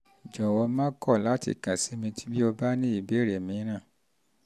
jọ̀wọ́ má kọ̀ láti kàn sí mi bí o bá ní ìbéèrè mìíràn